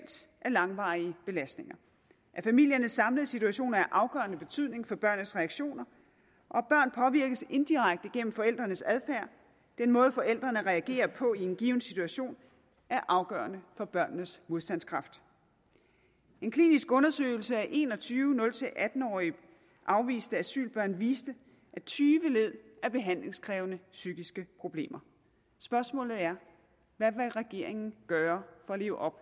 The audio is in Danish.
af langvarige belastninger at familiernes samlede situation er af afgørende betydning for børnenes reaktioner og at børn påvirkes indirekte gennem forældrenes adfærd den måde forældrene reagerer på i en given situation er afgørende for børnenes modstandskraft en klinisk undersøgelse af en og tyve nul atten årige afviste asylbørn viste at tyve led af behandlingskrævende psykiske problemer spørgsmålet er hvad vil regeringen gøre for at leve op